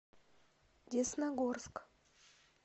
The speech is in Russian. десногорск